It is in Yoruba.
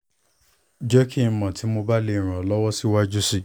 jẹ ki n mọ ti mo ba le ran ran ọ siwaju sii